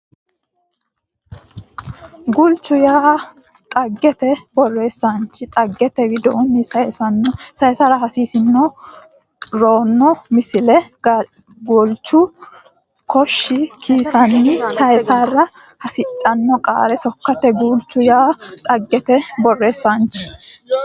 Guulchu yaa dhaggete borreessaanchi dhaggete widoonni saysara hasi rino Misile Galashshu kosho kisanna sayissara hasidhino qara sokkaati Guulchu yaa dhaggete borreessaanchi.